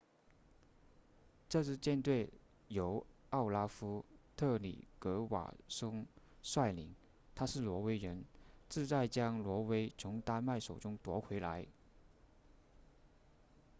这支舰队由奥拉夫特里格瓦松率领他是挪威人志在将挪威从丹麦手中夺回来